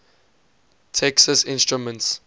texas instruments